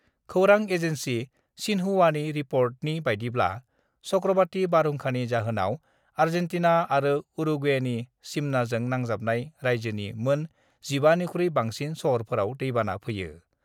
खौरां एजेन्सि सिन्हुवानि रिपर्टनि बायदिब्ला चक्रबाति बारहुंखानि जाहोनाव आजेन्टिना आरो उरुग्वेनि सिमनाजों नांजाबनाय राइज्योनि मोन 15 निख्रुइ बांसिन सहरफोराव दैबाना फैयो।